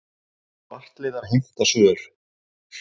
Svartliðar heimta svör